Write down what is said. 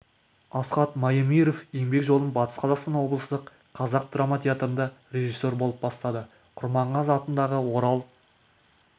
асхат маемиров еңбек жолын батыс қазақстан облыстық қазақ драма театрында режиссер болып бастады құрманғазы атындағы орал